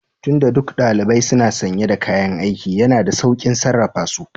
Tun da duk ɗalibai suna sanye da kayan aiki, yana da sauƙin sarrafa su